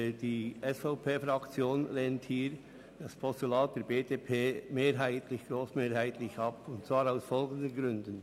Die SVPFraktion lehnt das Postulat der BDP grossmehrheitlich ab, und zwar aus folgenden Gründen: